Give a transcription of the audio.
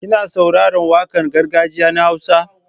Kina saurarar waƙar gargajiya na Hausa?